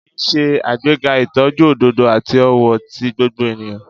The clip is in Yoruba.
Iyi n ṣe agbega itọju ododo ati ọwọ ti gbogbo eniyan.